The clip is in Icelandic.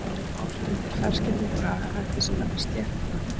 Hún er ort undir ferskeyttum bragarhætti sem nefnist sléttubönd.